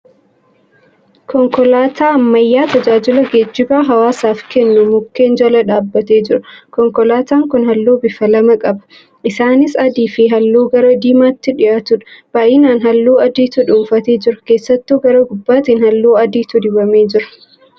Konkolaataa ammayyaa tajaajila geejjibaa hawaasaaf kennu mukkeen jala dhaabbatee jira. Konkolaataan kun halluu bifa lama qaba. Isaanis adii fi halluu gara diimaatti dhiyaatudha. Baay'inaan halluu adiitu dhuunfatee jira. Keessattuu gara gubbaatiin halluu adiitu dibamee jira.